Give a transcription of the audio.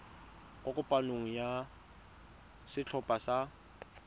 kwa kopanong ya setlhopha sa